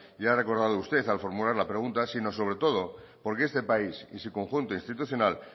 y que ha recordado usted al formular la pregunta sino sobre todo porque este país y su conjunto institucional